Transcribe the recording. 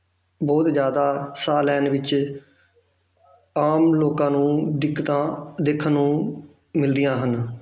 ਬਹੁਤ ਜ਼ਿਆਦਾ ਸਾਹ ਲੈਣ ਵਿੱਚ ਆਪ ਲੋਕਾਂ ਨੂੰ ਦਿੱਕਤਾਂ ਦੇਖਣ ਨੂੰ ਮਿਲਦੀਆਂ ਹਨ